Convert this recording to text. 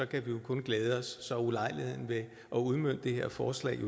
kan vi kun glæde os så er ulejligheden ved at udmønte det her forslag